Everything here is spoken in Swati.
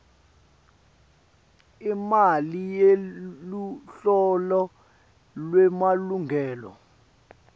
imali yeluhlolo lwemalungelo